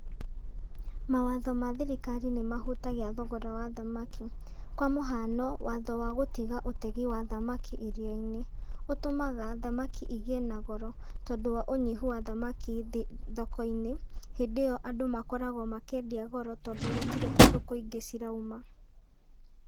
Mawatho ma thirikari nĩ mahutagia thogora wa thamaki, kwa mũhano, watho wa gũtiga ũtegi wa thamaki iria-inĩ, ũtũmaga thamaki igĩe na goro, tondũ wa ũnyihu wa thamaki thoko-in,ĩ hĩndĩ ĩyo andũ makoragwo makĩendia goro tondũ gũtirĩ kũndũ kũingĩ cirauma.